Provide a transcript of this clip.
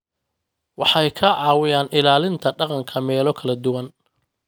Waxay ka caawiyaan ilaalinta dhaqanka meelo kala duwan.